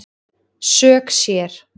Sök sér